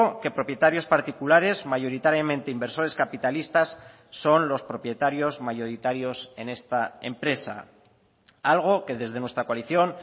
que propietarios particulares mayoritariamente inversores capitalistas son los propietarios mayoritarios en esta empresa algo que desde nuestra coalición